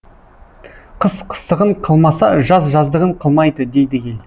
қыс қыстығын қылмаса жаз жаздығын қылмайды дейді ел